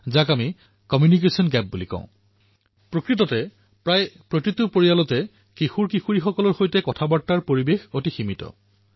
দৰাচলতে অধিক সংখ্যক পৰিয়ালতেই কিশোৰকিশোৰীসকলৰ সৈতে বাৰ্তালাপ কৰাৰ পৰিসৰ অতিশয় সীমিত হয়